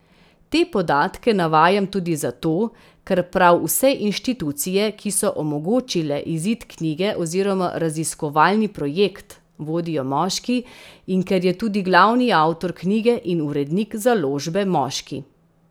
Te podatke navajam tudi zato, ker prav vse inštitucije, ki so omogočile izid knjige oziroma raziskovalni projekt, vodijo moški, in ker je tudi glavni avtor knjige in urednik založbe moški.